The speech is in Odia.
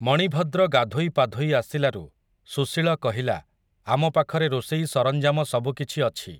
ମଣିଭଦ୍ର ଗାଧୋଇ ପାଧୋଇ ଆସିଲାରୁ, ସୁଶୀଳ କହିଲା, ଆମ ପାଖରେ ରୋଷେଇ ସରଞ୍ଜାମ ସବୁକିଛି ଅଛି ।